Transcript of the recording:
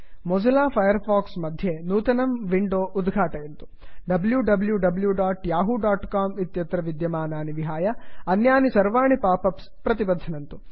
Mozilla Firefox मध्ये नूतनं window उद्घाटयन्तु wwwyahoocom इत्यत्र विद्यमानानि विहाय अन्यानि सर्वाणि पाप् अप्स् प्रतिबध्नन्तु